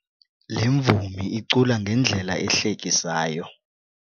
Le mvumi icula ngendlela ehlekisayo.